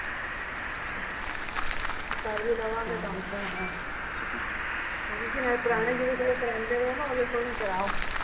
ਕਰ ਵੀ ਲਵਾਂਗੇ ਤਾਂ ਪੁਰਾਣੇ ਜਿਹਦੇ ਕੋਲੋਂ ਕਰਾਉਂਦੇ ਨੇ ਉਹਦੇ ਕੋਲੋਂ ਹੀਂ ਕਰਾਓ